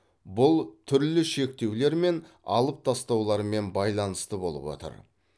бұл түрлі шектеулер мен алып тастаулармен байланысты болып отыр